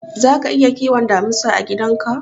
Zaka iya kiwon damisa a gidan ka?